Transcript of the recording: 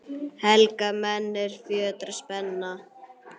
Helga menn, er fjötrar spenna